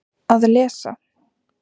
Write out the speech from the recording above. Að lesa